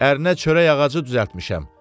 Ərinə çörək ağacı düzəltmişəm.